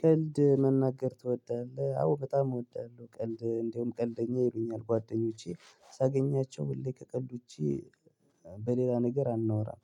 ቀልድ መናገር ትወዳለህ? አዎ በጣም እወዳለሁ ቀልድ እንደውም ቀልደኛ ይሉኛል ጓደኞቼ ሳገኛቸው ሁሌ ከቀድኩኝ በሌላ ነገር አናወራም